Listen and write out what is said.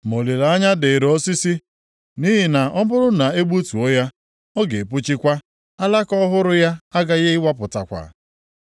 “Ma olileanya dịịrị osisi; nʼihi na ọ bụrụ na e gbutuo ya, ọ ga-epuchikwa, alaka ọhụrụ ya aghaghị ịwapụtakwa.